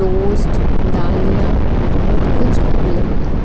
Toast दालियां बहोत कुछ अवेलेबल है।